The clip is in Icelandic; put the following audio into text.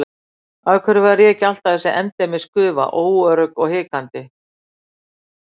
Af hverju var ég alltaf þessi endemis gufa, óörugg og hikandi?